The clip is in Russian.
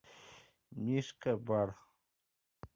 мишка бар